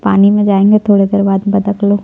पानी में जायेगा थोड़ा देर बाद बतख लोग--